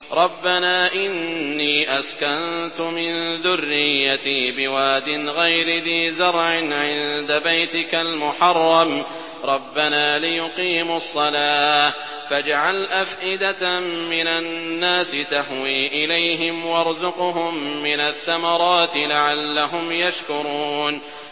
رَّبَّنَا إِنِّي أَسْكَنتُ مِن ذُرِّيَّتِي بِوَادٍ غَيْرِ ذِي زَرْعٍ عِندَ بَيْتِكَ الْمُحَرَّمِ رَبَّنَا لِيُقِيمُوا الصَّلَاةَ فَاجْعَلْ أَفْئِدَةً مِّنَ النَّاسِ تَهْوِي إِلَيْهِمْ وَارْزُقْهُم مِّنَ الثَّمَرَاتِ لَعَلَّهُمْ يَشْكُرُونَ